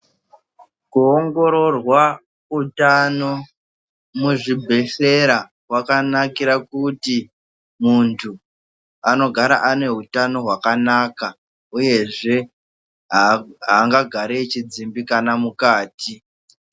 Kuongororwa utano kuzvibhehleya kwakanakira kuti muntu anogara ane utano hwakanaka uyezve angagari eidzimbikana mukati.